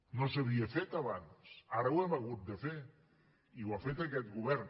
no s’havia fet abans ara ho hem hagut de fer i ho ha fet aquest govern